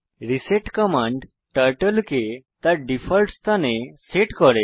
reset command turtle কে তার default স্থানে সেট করে